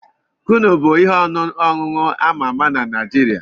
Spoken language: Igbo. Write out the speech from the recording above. Kunu bụ ihe ọṅụṅụ ama ama na Naijiria.